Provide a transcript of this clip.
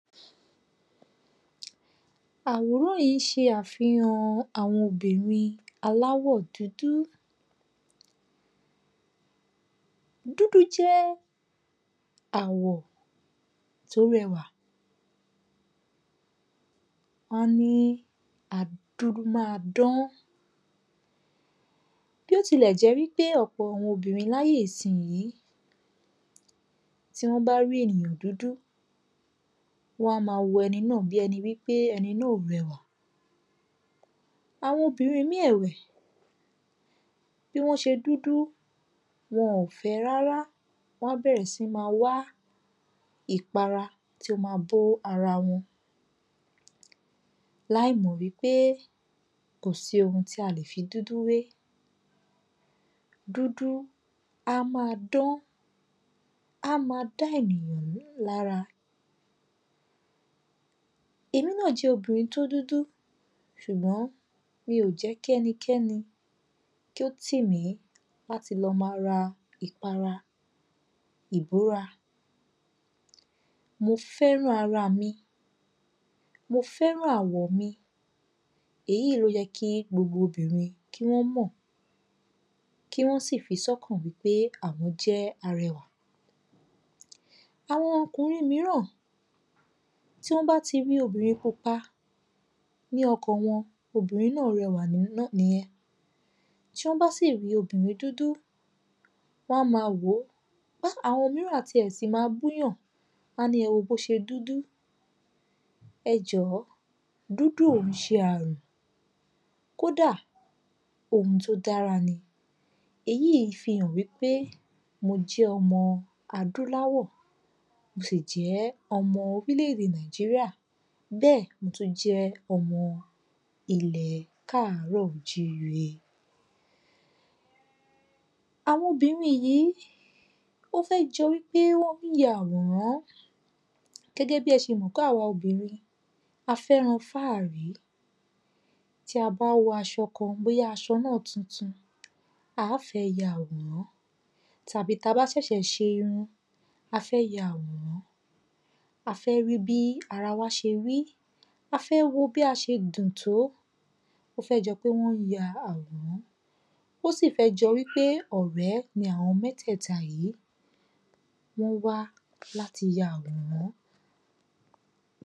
àwòrán yìí ṣe àfihàn àwọn obìnrin aláwọ̀ dúdú. dúdú jẹ́ àwọ̀ tí ó rẹwà, wọ́n ní adùn ma ń dán, bí ó tilẹ̀ jẹ́ wípé àwọn obìnrin ní àyè ìsín tí wọ́n bá rí ènìyàn dúdú wọn á máa wo ẹni náà bíi wípé ẹni náà ò wẹ̀ mọ́. Àwọn ọbìnrín míì ẹ̀wẹ̀, bí wọ́n ṣe dúdú, wọn ò fẹ́ ẹ rárá, wọn á bẹ̀rẹ̀ sí ní máa wá ìpara tí ó máa bo ara wọn láì mọ̀ wípé kò sí ohun tí a lè fi dudu wé, dúdú á máa dán, á máa dá ènìyàn lára. Èmi náa jẹ́ obìnrin tí ó dúdú, ṣùgbọ́n mi ò jẹ́ kí ẹnikẹ́ni kí ó ti mi láti lo ma ra ìpara ìbóra, mo fẹ́ran ara mi, mo fẹ́ran àwọ̀ mi, èyí ní ó yẹ́ kí gbogbo obìnrin kí wọ́n mọ̀, kí wọ́n sì fi sí ọkàn wípé àwọ́n jẹ́ arẹwà. Àwọn ọkùnrin míràn, tí wọ́n bá ti rí obìnrin pupa, ní ọkàn wọn obìnrin náà rẹwà nìyen, tí wọ́n bá sì rí obìnrin dúdú, wọn á máa wò, àwọn míràn a ti ẹ̀ si máa bú yàn, wọn á ní ẹ wo bí o ṣe dúdú, ẹ jọ̀ọ́ dúdú ò kìí ṣe àrùn, kódà ohun tí ó dára ni, èyí fi hàn wípé mo jẹ́ ọmọ adúláwà, mo sì jẹ́ ọmọ orílẹ̀-ède Nàìjíríà, bẹ́ẹ̀ mo tún jẹ́ ọmọ ilẹ̀ káàrọ́ọ̀-o-jíi-re. Àwọn obìnrin yìí ó fẹ́ jọ wípé wọ́n ya àwòrán, gẹ́gẹ́ bí ẹ ṣe mọ̀ wípé àwa obìnrin a fẹ́ran fáàrí, tí a bá wọ aṣọ kan, bóyá aṣọ náà tuntun, àá fẹ́ ya àwòrán, tàbí tí a bá ṣẹ̀ṣẹ̀ ṣe irun, àá fẹ́ ya àwòrán, a fẹ́ ríi bí ara wa ṣe rí, a fẹ́ wo bí a ṣe dùn tó, ó fẹ́ jọ pé wọ́n ya àwòrán, ó sì fẹ́ jọ́ wípé ọ̀rẹ ní àwọn mẹ́tẹ̀ta yìí, wọ́n wá láti ya àwòrán.